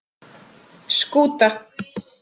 Skúta